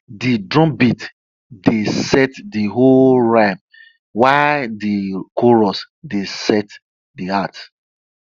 de drumbeat dey set de hoe rhythm while de chorus dey set de heart